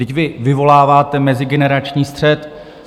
Vždyť vy vyvoláváte mezigenerační střet!